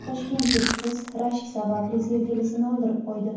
Toshkentlik qiz rashk sababli sevgilisini o‘ldirib qo‘ydi .